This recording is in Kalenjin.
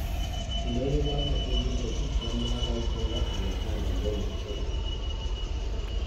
indonyo inoton kogiindochin chemungarait nepo Alexanda indonyoisiek ap keny